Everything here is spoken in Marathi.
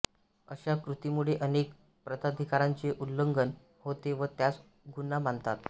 अश्या कृतीमुळे अनेक प्रताधिकारांचे उल्लंघन होते व त्यास गुन्हा मानतात